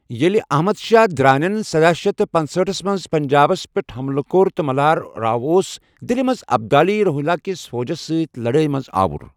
ییٚلہِ احمد شاہ درانین سداہ شیتھ پنٔژہاٹھس منٛز پنجابس پٮ۪ٹھ حملہٕ کوٚر تہٕ ملہار راؤ اوس دِلہِ منٛز ابدالی روہیلا کِس فوجس سۭتۍ لَڑٲے منٛز آوُر۔